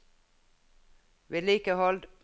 vedlikehold